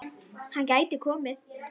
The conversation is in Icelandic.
Hann gæti komið